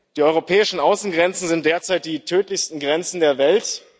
Die europäischen Außengrenzen sind derzeit die tödlichsten Grenzen der Welt.